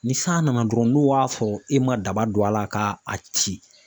Ni san nana dɔrɔn n'o b'a fɔ e ma daba don a la ka a ci